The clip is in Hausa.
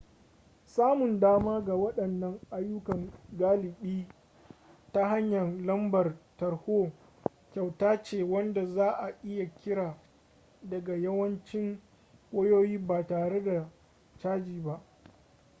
samun dama ga waɗannan ayyukan galibi ta hanyar lambar tarho kyauta ce wanda za a iya kira daga yawancin wayoyi ba tare da caji ba